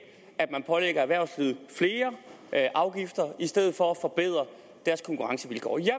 at man pålægger erhvervslivet flere afgifter i stedet for at forbedre deres konkurrencevilkår jeg